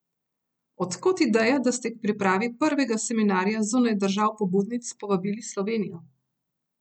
Od kod ideja, da ste k pripravi prvega seminarja zunaj držav pobudnic povabili Slovenijo?